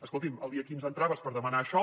escolti’m el dia quinze entraves per demanar això